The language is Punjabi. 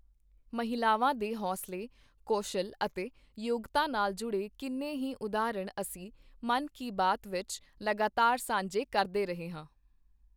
ਮਹਿਲਾਵਾਂ ਦੇ ਹੌਸਲੇ, ਕੌਸ਼ਲ ਅਤੇ ਯੋਗਤਾ ਨਾਲ ਜੁੜੇ ਕਿੰਨੇ ਹੀ ਉਦਾਹਰਣ ਅਸੀਂ ਮਨ ਕੀ ਬਾਤ ਵਿੱਚ ਲਗਾਤਾਰ ਸਾਂਝੇ ਕਰਦੇ ਰਹੇ ਹਾਂ।